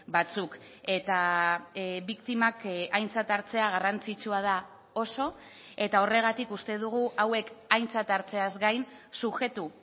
batzuk eta biktimak aintzat hartzea garrantzitsua da oso eta horregatik uste dugu hauek aintzat hartzeaz gain subjektu